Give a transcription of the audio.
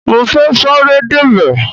Mo fẹ́ sáré débẹ̀.